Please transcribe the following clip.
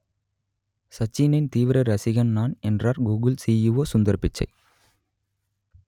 சச்சினின் தீவிர ரசிகன் நான் என்றார் கூகுள் சிஇஓ சுந்தர் பிச்சை